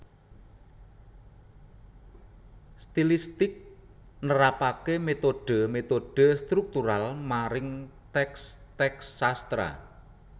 Stilistik nerapaké metode metode struktural maring teks teks sastra